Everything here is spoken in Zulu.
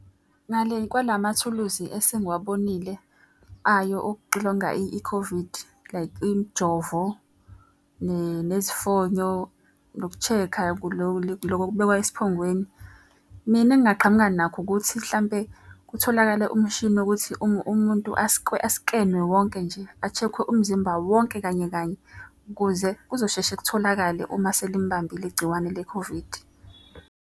Ngale kwalamathuluzi esengiwabonile ayo okuxilonga i-COVID like imjovo, nezifonyo, noku-check-a loku okubekwa esiphongweni. Mina engingaqhamuka nakho ukuthi hlampe kutholakale umshini wokuthi umuntu askenwe wonke nje, a-check-we umzimba wonke kanye kanye. Ukuze kuzosheshe kutholakale uma selimbambile igciwane le-COVID.